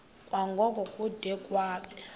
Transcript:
kwango kude kube